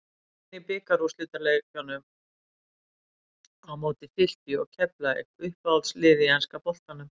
Töpin í bikarúrslitunum á móti Fylki og Keflavík Uppáhalds lið í enska boltanum?